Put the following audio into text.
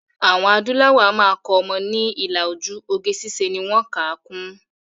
Àwọn adúláwò a máa kọ́ ọmọ ni ilà ojú, oge ṣíṣe ni wọ́n kà á kún